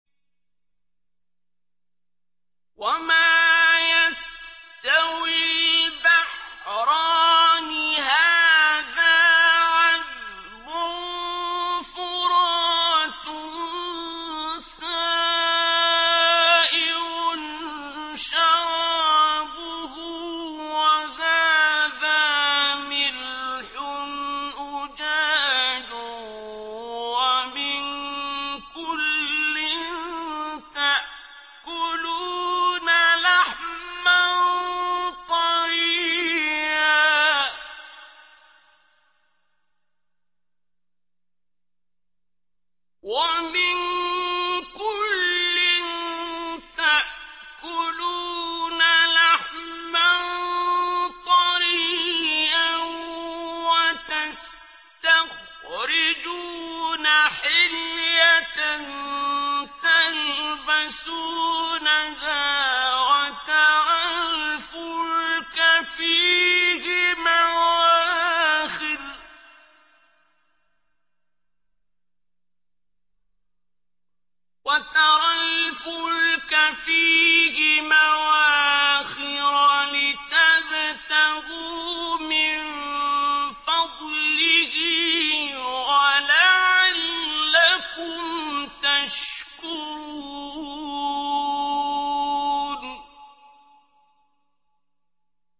وَمَا يَسْتَوِي الْبَحْرَانِ هَٰذَا عَذْبٌ فُرَاتٌ سَائِغٌ شَرَابُهُ وَهَٰذَا مِلْحٌ أُجَاجٌ ۖ وَمِن كُلٍّ تَأْكُلُونَ لَحْمًا طَرِيًّا وَتَسْتَخْرِجُونَ حِلْيَةً تَلْبَسُونَهَا ۖ وَتَرَى الْفُلْكَ فِيهِ مَوَاخِرَ لِتَبْتَغُوا مِن فَضْلِهِ وَلَعَلَّكُمْ تَشْكُرُونَ